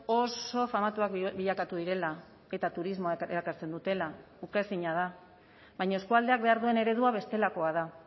oso famatuak bilakatu direla eta turismoa erakartzen dutela ukaezina da baina eskualdeak behar duen eredua bestelakoa da